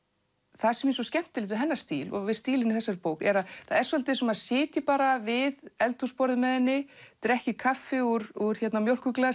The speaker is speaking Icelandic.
það sem er svo skemmtilegt við hennar stíl og stílinn í þessari bók er að það er svolítið eins og maður sitji bara við eldhúsborðið með henni drekki kaffi úr